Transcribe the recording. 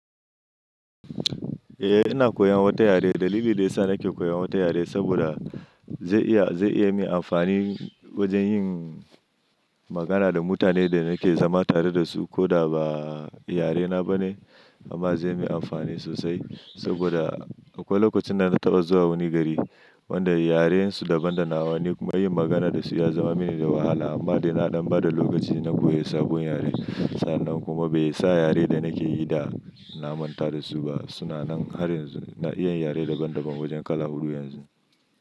Eh, ina koyan wata yare. Dalili da yasa nake koyan wata yare saboda zai iya, zai iya min amfani wajan yin magana da mutanen da nake zama tare da su ko da ba yarena ba ne amma zai yi amfani sosai saboda akwai lokacin da na taɓa zuwa wani gari wanda yarensu daban da nawa. Ni kuma yin magana da su ya zama mini da wahala amma da na ɗan bada lokaci na koyi sabon yare. Sannan kuma bai sa yare da nake yi da na manta da su ba. Su na nan har yanzu. Na iya yare daban daban wajan kala huɗu yanzu.